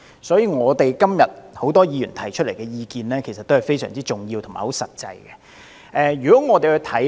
所以，很多議員今天提出來的意見是非常重要和實際的。